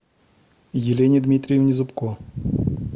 елене дмитриевне зубко